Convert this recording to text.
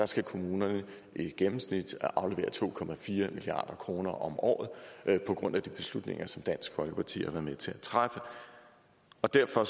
skal kommunerne i gennemsnit aflevere to milliard kroner om året på grund af de beslutninger som dansk folkeparti har været med til at træffe derfor